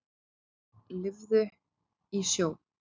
Lifði í sjó.